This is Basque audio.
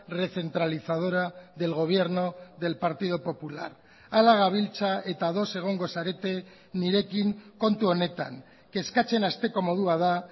recentralizadora del gobierno del partido popular hala gabiltza eta ados egongo zarete nirekin kontu honetan kezkatzen hasteko modua da